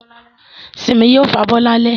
Simi yóò fabọ́ lálẹ́